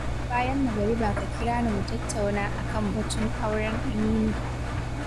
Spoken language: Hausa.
Bayan magariba ka kira ni mu tattauna a kan batun auren Aminu.